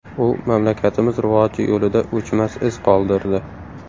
U mamlakatimiz rivoji yo‘lida o‘chmas iz qoldirdi.